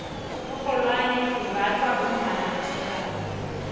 iinrholwane zimbathwa bommamasokana